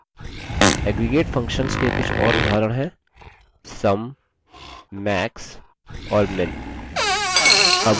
aggregate functions के कुछ और उदाहरण हैं sum max और min